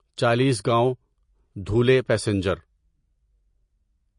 Chalisgaon Dhule passenger